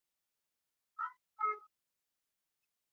Ƙwallon ƙarfe mai nauyi dole ne yayi tafiya kamar yadda zai yiwu a harbi.